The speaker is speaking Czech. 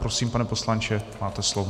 Prosím, pane poslanče, máte slovo.